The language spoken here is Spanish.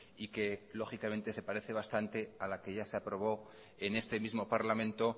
y que lógicamente se parece bastante a la que ya se aprobó en este mismo parlamento